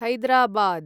Hyderabad